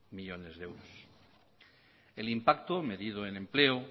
millónes de euros el impacto medido en empleo